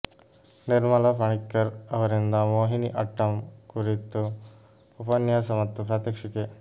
ನಿರ್ಮಲಾ ಪಣಿಕ್ಕರ್ ಅವರಿಂದ ಮೋಹಿನಿ ಆಟ್ಟಂ ಕುರಿತು ಉಪನ್ಯಾಸ ಮತ್ತು ಪ್ರಾತ್ಯಕ್ಷಿಕೆ